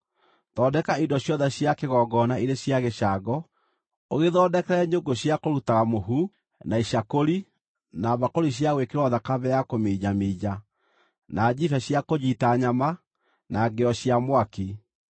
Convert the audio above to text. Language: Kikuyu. Thondeka indo ciothe cia kĩgongona irĩ cia gĩcango, ũgĩthondekere nyũngũ cia kũrutaga mũhu, na icakũri na mbakũri cia gwĩkĩrwo thakame ya kũminjaminja, na njibe cia kũnyiita nyama, na ngĩo cia mwaki.